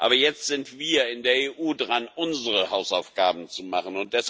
Aber jetzt sind wir in der EU dran, unsere Hausaufgaben zu machen.